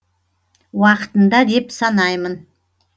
уақытында деп санаймын